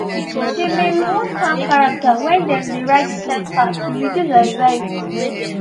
she been reward calm character when they dey ride inside car to reduce anxiety